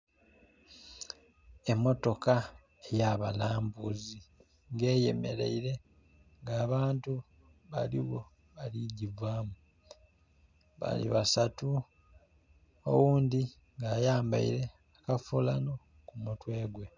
Emotoka eyabalambuuzi nga eyemeraile nga abantu baligho bali kugivamu, bali basatu oghundi ayambaile akafuulano kumutwegwe.